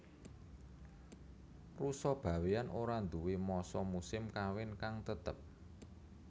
Rusa Bawéan ora nduwé masa musim kawin kang tetep